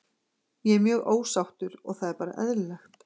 Ég er mjög ósáttur og það er bara eðlilegt.